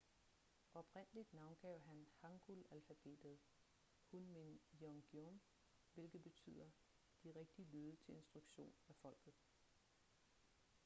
oprindeligt navngav han hangul-alfabetet hunmin jeongeum hvilket betyder de rigtige lyde til instruktion af folket